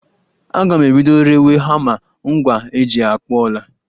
Aga m ebido rewe hama, ngwa eji akpụ ọla